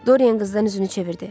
Dorian qızdan üzünü çevirdi.